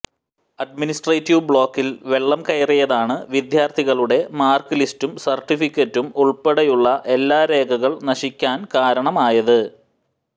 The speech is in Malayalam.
അഡ്മിനിസ്ട്രേറ്റീവ് ബ്ലോക്കിൽ വെള്ളം കയറിയതാണ് വിദ്യാർത്ഥികളുടെ മാർക്ക് ലിസ്റ്റും സർട്ടിഫിക്കറ്റും ഉൾപ്പെടെയുള്ള എല്ലാ രേഖകൾ നശിക്കാൻ കാരണമായത്